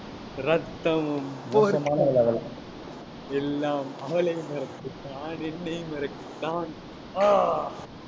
ரத்தமும் போர்க்களமும் எல்லாம் அவளை மறக்கத்தான் என்னை மறக்கத்தான். ஆஹ்